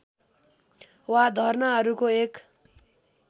वा धर्नाहरूको एक